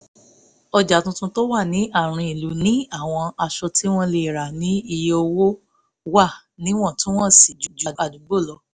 ọjà tuntun tó wà ní àárín ìlú ní àwọn aṣọ tí wọ́n lè rà ní iye owó wà níwọ̀ntúnwọ̀nsì ju àdúgbò lọ